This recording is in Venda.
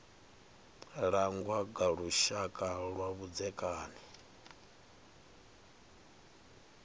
langwa nga lushaka lwa vhudzekani